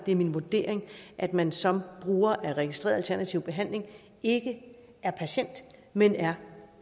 er min vurdering at man som bruger af registreret alternativ behandling ikke er patient men er